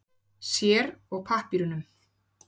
Sér og pappírunum.